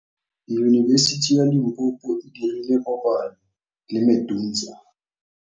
Yunibesiti ya Limpopo e dirile kopanyô le MEDUNSA.